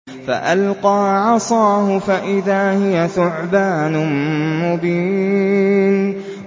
فَأَلْقَىٰ عَصَاهُ فَإِذَا هِيَ ثُعْبَانٌ مُّبِينٌ